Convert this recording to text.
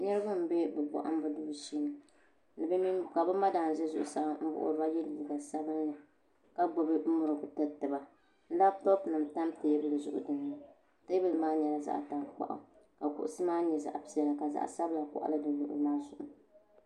Niraba n bɛ bi bohambu duu shee ka bi madam ʒɛ zuɣusaa n wuhuriba bin sabinli ka gbubi murigu tiriti ba labtop nim tam teebuli zuɣu teebuli maa nyɛla zaɣ tankpaɣu ka kuɣusi maa nyɛ zaɣ piɛla ka zaɣ sabila koɣali di luɣu li maa zuɣu